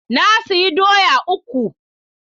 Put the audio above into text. Na sayi doya uku.